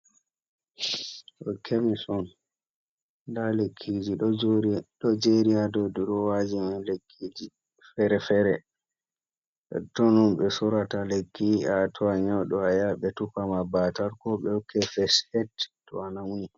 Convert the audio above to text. Ɗo kemis on. Nda lekkiji ɗo jeri haa dou durowaji. Lekkiji fere-fere, totton on ɓe sorata lekkiji, to a nyauɗo a yaha ɓe tufa ma baatal, ko ɓe hokke fes eid to a nauni.